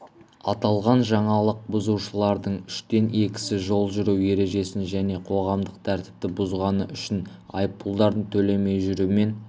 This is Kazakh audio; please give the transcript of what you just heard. аталған жаңалық бұзушылардың үштен екісі жол жүру ережесін және қоғамдық тәртіпті бұзғаны үшін айыппұлдарын төлемей жүрумен